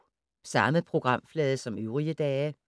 Samme programflade som øvrige dage